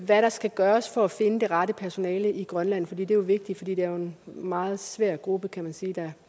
hvad der skal gøres for at finde det rette personale i grønland det er jo vigtigt for det er en meget svær gruppe kan man sige der